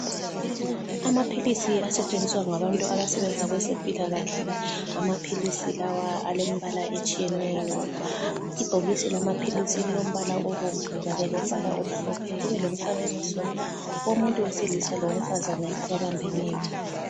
Amaphilisi asetshenziswa ngabantu abasebenza kwezempilakahle. Amaphilisi lawa alembala etshiyeneyo. Ibhokisi lamaphilisi lilombala obomvu kanye lombala omhlophe kube lomfanekiso womuntu wesilisa lowesifazane ababambeneyo.